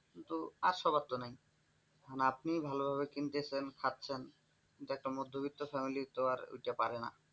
কিন্তু আর সবার তো নেই মানে আপনি শুধু ভালোভাবে কিনতেছেন খাচ্ছেন কিন্তু একটা মধ্যবিত্ত family তো আর ওইটা পারে না।